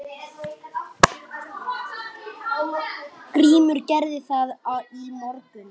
GRÍMUR: Gerði það í morgun!